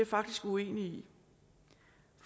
faktisk uenig